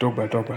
dọ́gbà dọ́gbà.